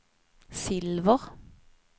silver